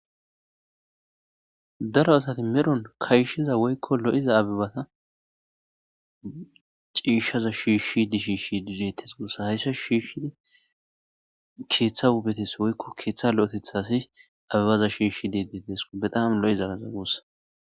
daro asati meron kayshshiza woykko lo7iza abibata ciishshaza shiishshi dishiishshi dideettes guossa hayssa shiishshidi keeththa hubetes woykko keeththa lo7etetha asi abibaza shiishshi dedetesko bedaam lo7izaaza gussa